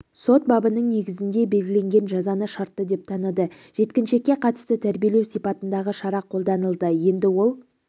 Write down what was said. сот бабының негізінде белгіленген жазаны шартты деп таныды жеткіншекке қатысты тәрбиелеу сипатындағы шара қолданылды енді ол